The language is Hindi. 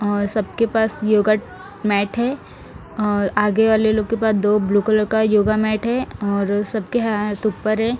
और सबके पास योग मैट है और आगे वाले लोगों के पास दो ब्लू कलर का मैट है और सबके हाथ ऊपर हैं।